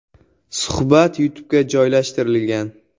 Suhbat YouTube’ga joylashtirilgan .